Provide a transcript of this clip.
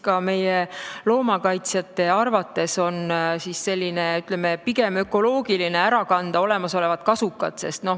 Ka meie loomakaitsjate arvates on pigem ökoloogiline olemasolevad kasukad ära kanda.